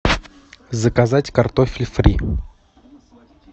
заказать картофель фри